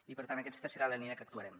i per tant aquesta serà la línia en què actuarem